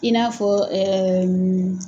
I n'a fɔ